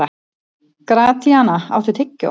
Gratíana, áttu tyggjó?